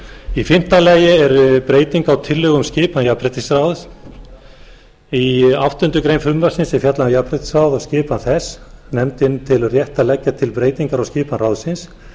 í fimmta lagi er breyting á tillögu um skipan jafnréttisráðs í áttundu greinar frumvarpsins er fjallað um jafnréttisráð og skipan þess nefndin telur rétt að leggja til breytingar á skipan ráðsins